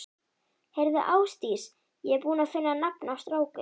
Heyrðu Ásdís, ég er búinn að finna nafn á strákinn.